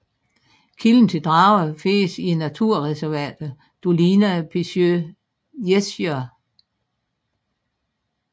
Kilden til Drawa findes i naturreservatet Dolina Pięciu Jezior